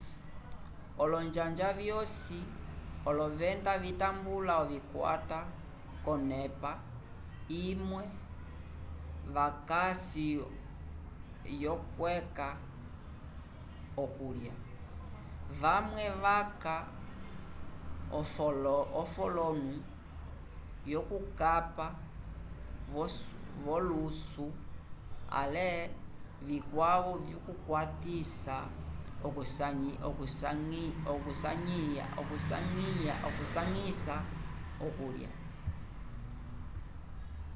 olonjanja vyosi olovenda vitambula ovikwata k'onep imwe vakasi yokweca okulya vamwe vaca ofolono yokukapa v'olusu ale vikwavo vikwatisa okusanyisa okulya